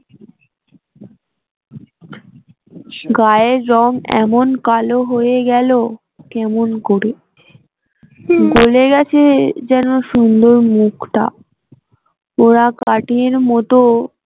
গায়ের রং এমন কালো হয়ে গেল কেমন করে গলে গেছে যেনো সুন্দর মুখটা পোড়া কাঠের মত